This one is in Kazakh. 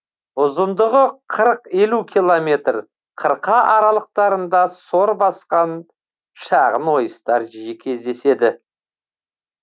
ұзындығы қырық елу километр қырқа аралықтарында сор басқан шағын ойыстар жиі кездеседі